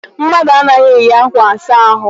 Mmadụ anaghị eyi ákwà asa ahụ.